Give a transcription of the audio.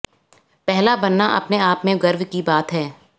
पहला बनना अपने आप में गर्व की बात है